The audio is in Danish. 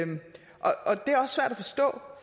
forstå